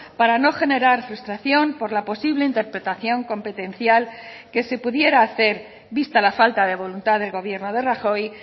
para no generar frustración por la posible interpretación competencial que se pudiera hacer vista la falta de voluntad del gobierno de rajoy